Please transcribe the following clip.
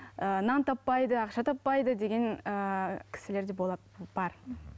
ыыы нан таппайды ақша таппайды деген ііі кісілерде болады бар